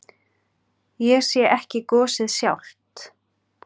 Ég sé ekki gosið sjálft.